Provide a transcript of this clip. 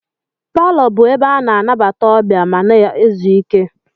Paló bụ ebe ana anabata ọbịa, ma na ézú ike.